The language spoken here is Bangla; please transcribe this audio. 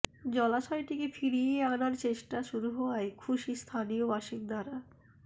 জলাশয়টিকে ফিরিয়ে আনার চেষ্টা শুরু হওয়ায় খুশি স্থানীয় বাসিন্দারা